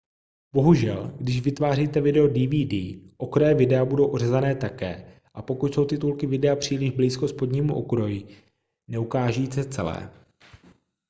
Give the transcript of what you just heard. bohužel když vytváříte video dvd okraje videa budou ořezané také a pokud jsou titulky videa příliš blízko spodnímu okraji neukáží se celé